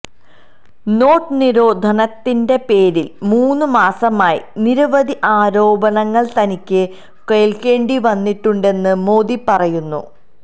not നിരോധനത്തിന്റെ പേരില് മൂന്നു മാസമായി നിരവധി ആരോപണങ്ങള് തനിക്ക് കേള്ക്കേണ്ടി വന്നിട്ടുണ്ടെന്ന് മോദി പറയുന്നു